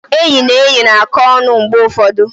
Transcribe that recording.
Enyi na enyi na-akọ ọnụ mgbe ụfọdụ.